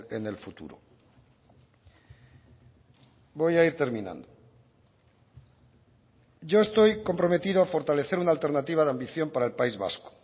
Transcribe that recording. en el futuro voy a ir terminando yo estoy comprometido a fortalecer una alternativa de ambición para el país vasco